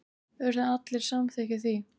Urðu allir samþykkir því.